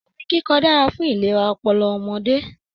Orin kikọ dára fún ìlera ọpọlọ ọmọdé.